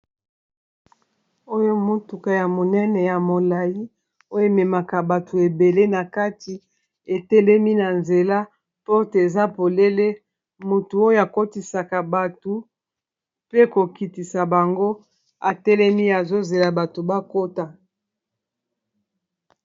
Oyo motuka ya monene ya molayi oyo ememaka bato ebele na kati etelemi na nzela porte eza polele motu oyo akotisaka bato pe kokitisa bango atelemi azozela bato bakota